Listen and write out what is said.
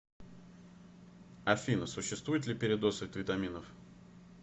афина существует ли передоз от витаминов